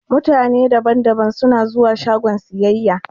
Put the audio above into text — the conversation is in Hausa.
Mutane da ban da ban suna zuwa shagon siyayya.